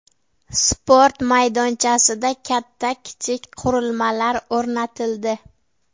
Sport maydonchasida katta-kichik qurilmalar o‘rnatildi.